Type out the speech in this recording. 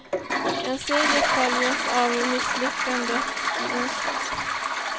En seger följdes av misslyckandet i onsdags.